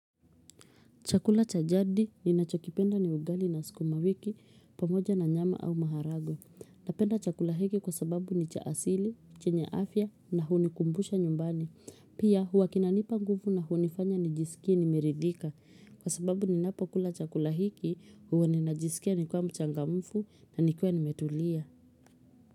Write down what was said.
Chakula cha jadi ni nachokipenda ni ugali na suku mawiki pamoja na nyama au maharagwe. Napenda chakula hiki kwa sababu ni cha asili, chenye afya na hunikumbusha nyumbani. Pia huwa kinanipa nguvu na hunifanya nijisikie nimeridhika. Kwa sababu ninapo kula chakula hiki huwa ninajisikia ni kuwa mchangamfu na nikiwa ni metulia.